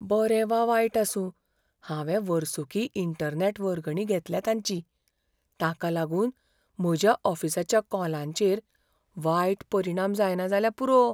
बरें वा वायट आसूं, हांवें वर्सुकी इंटरनॅट वर्गणी घेतल्या तांची. ताका लागून म्हज्या ऑफिसाच्या कॉलांचेर वायट परिणाम जायना जाल्यार पुरो!